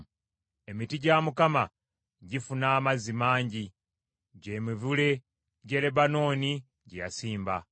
Emiti gya Mukama gifuna amazzi mangi; gy’emivule gy’e Lebanooni gye yasimba.